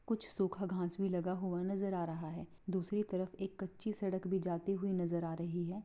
कुछ सुखा घास भी लगा हुआ नजर आ रहा है दूसरी तरफ एक कच्ची सड़क भी जाती हुई नजर आ रही है।